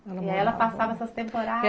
Ela passava essas temporadas.